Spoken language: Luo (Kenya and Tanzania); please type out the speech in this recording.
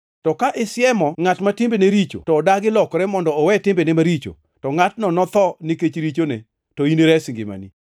To ka isiemo ngʼat ma timbene richo to odagi lokore mondo owe timbene maricho, to ngʼatno notho nikech richone, to in inires ngimani.